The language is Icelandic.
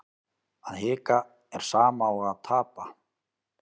Að hika er sama og að tapa